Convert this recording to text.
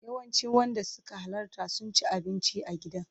Yawancin wanda suka halarta sun ci abinci a gidan.